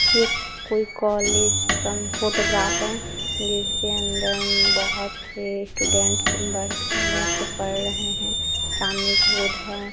यह कोई कॉलेज का फोटोग्राफ है जिसके अंदर बहुत से स्टूडेंट्स बैठकर पढ़ रहे हैं सामने एक बोर्ड है।